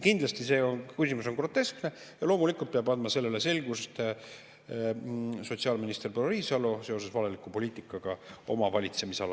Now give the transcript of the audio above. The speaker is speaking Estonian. Kindlasti on see küsimus groteskne ja loomulikult peab andma selgust sotsiaalminister proua Riisalo seoses valeliku poliitikaga oma valitsemisalas.